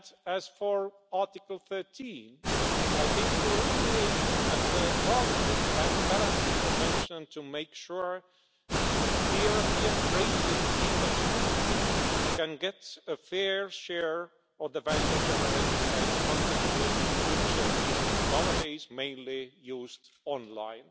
As for Article 13, I think we are only aiming at a targeted and balanced intervention, to make sure that the European creative industry can get a fair share of the value generated by its content, which is nowadays mainly used online.